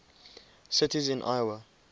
cities in iowa